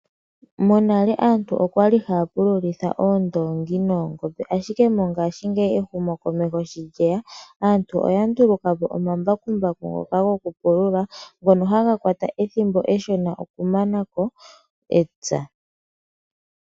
Monale aantu okwali haya pululitha oondoongi noongombe, ashike mongashingeyi ehumo komeho sho lyeya aantu oya nduluka po omambakumbaku ngoka gokupulula, ngono haga kwata ethimbo eshona okumanako epya.